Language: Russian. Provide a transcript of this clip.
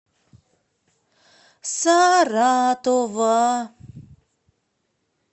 саратова